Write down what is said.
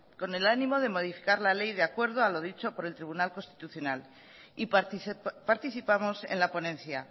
con el ánimo de modificar la ley de acuerdo a los dicho por el tribunal constitucional y participamos en la ponencia